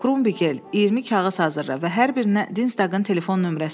Krumbigel, 20 kağız hazırla və hər birinə Dinstaqın telefon nömrəsini yaz,